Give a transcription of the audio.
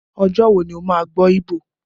Ọjọ́ wo ni o máa gbọ́ Igbo?